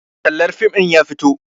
Tallar fim ɗin ya fito